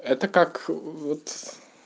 это как вот